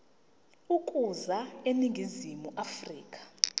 ukuza eningizimu afrika